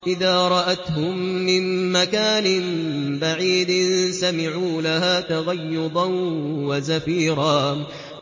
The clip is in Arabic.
إِذَا رَأَتْهُم مِّن مَّكَانٍ بَعِيدٍ سَمِعُوا لَهَا تَغَيُّظًا وَزَفِيرًا